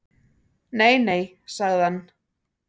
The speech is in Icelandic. Nei nei, sagði hann.